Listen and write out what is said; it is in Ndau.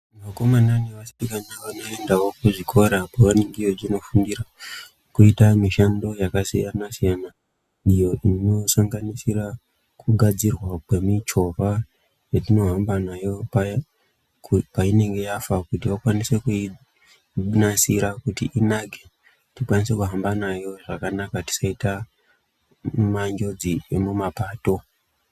Vakomana nevasikana vakaenda kuzvikora atinonofundira kuita mishando yakasiyana siyana. Iyo inosanganisira kugadzirwa kwemichovha yatinohamba nayo paya kuti painenge yafa kuti vakwanise kuinasira kuti inake tikwanise kuhamba nayo zvakanaka kuti tisaita manjodzi emumapato.